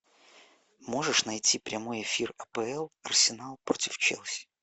можешь найти прямой эфир апл арсенал против челси